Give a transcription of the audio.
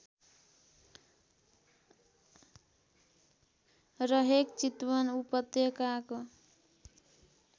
रहेक चितवन उपत्यकाको